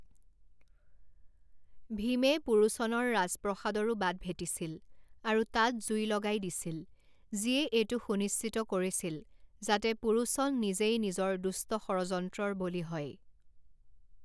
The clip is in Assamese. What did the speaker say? ভীমে পুৰোচনৰ ৰাজপ্ৰসাদৰো বাট ভেটিছিল আৰু তাত জুই লগাই দিছিল, যিয়ে এইটো সুনিশ্চিত কৰিছিল যাতে পুৰোচন নিজেই নিজৰ দুষ্ট ষড়যন্ত্ৰৰ বলি হয়।